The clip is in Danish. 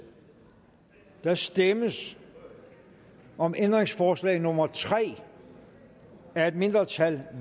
der stemmes om ændringsforslag nummer tre af et mindretal